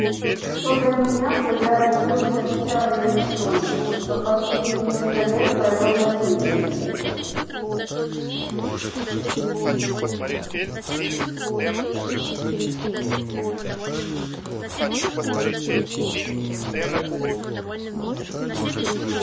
что до меня то я родился в чарльстоне но последние несколько лет провёл на севере